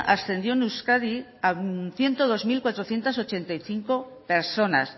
ascendió en euskadi a ciento dos mil cuatrocientos ochenta y cinco personas